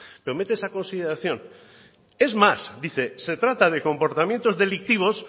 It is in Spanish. pero mete esa consideración es más dice se trata de comportamientos delictivos